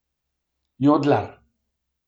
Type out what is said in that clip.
Jodlar.